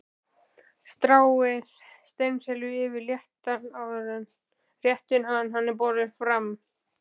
Stráið steinselju yfir réttinn áður en hann er borinn fram.